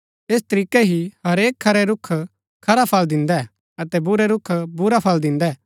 ऐस तरीकै हि हरेक खरै रूख खरा फळ दिन्दै अतै बुरै रूख बुरै फळ दिन्दै